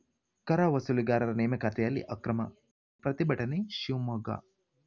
ಕರ ವಸೂಲಿಗಾರರ ನೇಮಕಾತಿಯಲ್ಲಿ ಅಕ್ರಮ ಪ್ರತಿಭಟನೆ ಶಿವಮೊಗ್ಗ